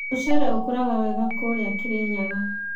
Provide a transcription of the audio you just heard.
Mũcere ũrakũra wega kũria Kirinyaga.